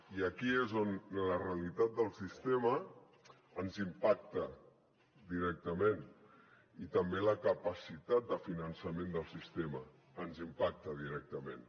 i aquí és on la realitat del sistema ens impacta directament i també la capacitat de finançament del sistema ens impacta directament